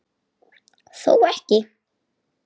Þó ekki.?